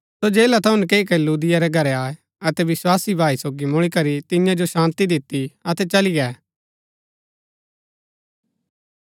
सो जेला थऊँ नकैई करी लुदिया रै घरै आये अतै विस्वासी भाई सोगी मुळी करी तियां जो शान्ती दिती अतै चली गै